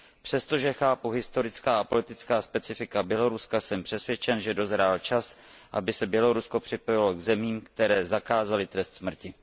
Přestože chápu historická a politická specifika Běloruska, jsem přesvědčen, že dozrál čas, aby se Bělorusko připojilo k zemím, které zakázaly trest smrti.